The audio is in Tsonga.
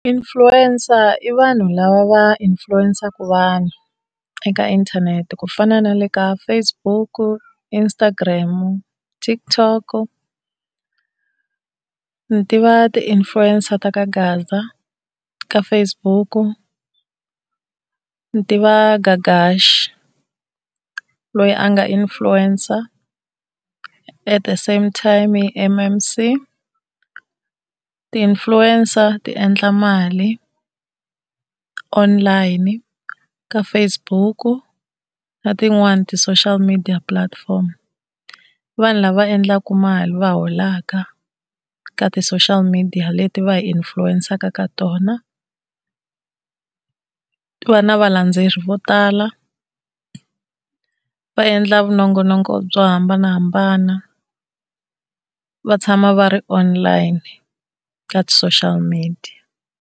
Influencer i vanhu lava va influence-saka vanhu eka inthanete, ku fana na le ka Facebook, Instagram, TikTok. Ndzi tiva ti-influencer ta ka gaza ka Facebook, ni tiva Gagashi loyi a nga influencer at the same time i M_M_C. Ti-influencer ti endla mali online ka Facebook na tin'wani ti-social media platform i vanhu lava endlaka mali va holaka ka ti-social media leti va hi influence-saka ka tona. Va na valendzeleri vo tala, va endla minongonoko byo hambanahambana va tshama va ri online ka ti-social media.